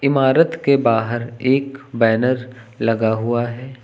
इमारत के बाहर एक बैनर लगा हुआ है।